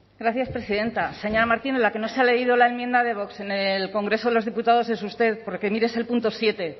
gracias presidenta señora martínez la que no se ha leído la enmienda de vox en el congreso de los diputados es usted porque mire es el punto siete